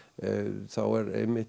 þá er einmitt